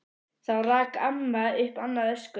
Þá rak amma upp annað öskur.